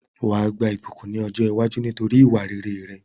Wàá gba ìbùkún ni ọ̀jọ́ iwájú nítorí ìwà rere rẹ